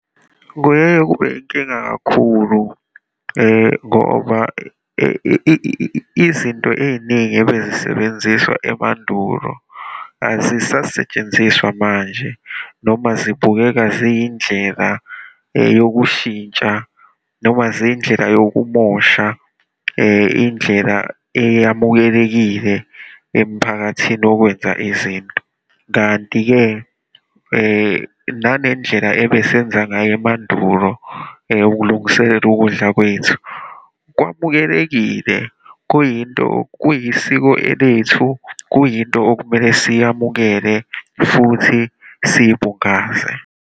Kuyeye kube inkinga kakhulu, ngoba izinto ey'ningi ebezisebenziswa emandulo, azisasetshenziswa manje, noma zibukeka ziyindleka yokushintsha, noma ziyindleka yokumosha indlela eyamukelekile emphakathini yokwenza izinto. Kanti-ke nanendlela ebesenza ngayo emandulo ukulungiselela ukudla kwethu, kwamukelekile, kuyinto, kuyisiko elethu, kuyinto okumele siyamukele futhi siyibungaze.